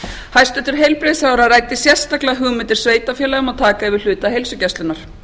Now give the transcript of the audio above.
hæstvirtur heilbrigðisráðherra ræddi sérstaklega hugmyndir sveitarfélaga um að yfirtaka hluta heilsugæslunnar